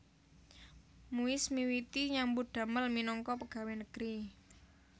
Muis miwiti nyambut damel minangka pegawé negeri